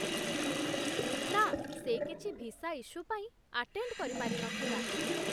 ନା, ସେ କିଛି ଭିସା ଇଶ୍ୟୁ ପାଇଁ ଆଟେଣ୍ଡ କରି ପାରିନଥିଲା ।